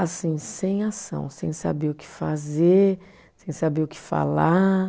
assim, sem ação, sem saber o que fazer, sem saber o que falar.